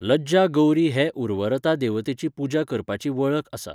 लज्जा गौरी हे उर्वरता देवतेची पुजा करपाची वळख आसा.